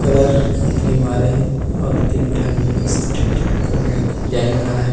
Colour के मारे हे और तीन ठन मस्त छोटे _छोटे फूल म डिज़ाइन बनाए हे।